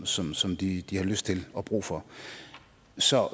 som som de de har lyst til og brug for så